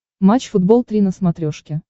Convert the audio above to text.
матч футбол три на смотрешке